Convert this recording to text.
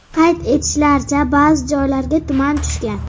Qayd etishlaricha, ba’zi joylarga tuman tushgan.